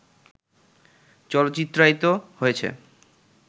চলচ্চিত্রায়িত হয়েছে